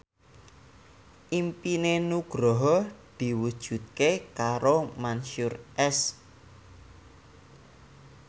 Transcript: impine Nugroho diwujudke karo Mansyur S